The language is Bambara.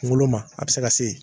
Kungolo ma a be se ka se yen